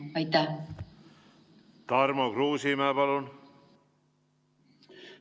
Tarmo Kruusimäe, palun!